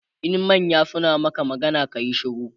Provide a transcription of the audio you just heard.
in manya suna Maka magana kayi shiru